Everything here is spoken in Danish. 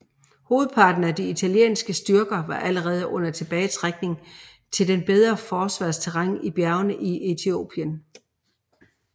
Hovedparten af de italienske styrker var allerede under tilbagetrækning til det bedre forsvarsterræn i bjergene i Etiopien